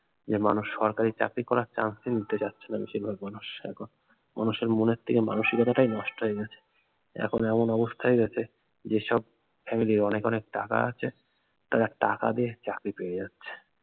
যে মানুষ সরকারি করার chance ই নিতে চাচ্ছে না বেশিরভাগ মানুষ এখন মানুষের মনের থেকে মানসিকতা টাই নষ্ট হয়ে গেছে এখন এমন অবস্থা হয়ে গিয়েছে যেসব family র অনেক অনেক টাকা আছে তারা টাকা দিয়ে চাকরি পেয়ে যাচ্ছে